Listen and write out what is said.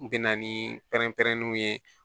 N bɛ na ni pɛrɛn pɛrɛnniw ye